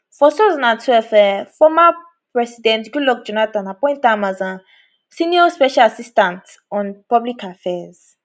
for 2012 um former president goodluck appoint am as a um senior special assistant on public affairs